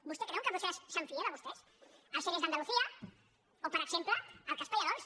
vostès creuen que brussel·les es fia de vostès els ere d’andalusia o per exemple el cas pallerols